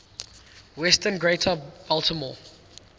western greater baltimore